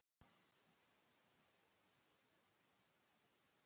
Endursala á málverkum er eins konar uppboðsmarkaður.